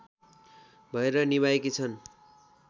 भएर निभाएकी छन्